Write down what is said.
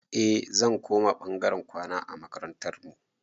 Eh zan koma ɓangaren kwana a makarantar mu